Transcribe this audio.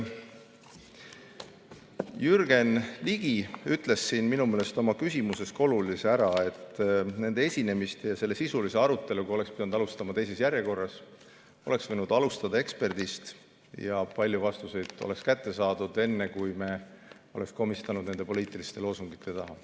Jürgen Ligi ütles siin minu meelest oma küsimuses olulise ära, et nende esinemiste ja selle sisulise aruteluga oleks pidanud alustama teises järjekorras, oleks võinud alustada eksperdist ja paljud vastused oleks kätte saadud enne, kui me oleksime komistanud nende poliitiliste loosungite taha.